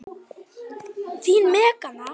Þín Magnea.